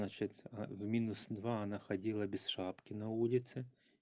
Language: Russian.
значить в минус два она ходила без шапки на улице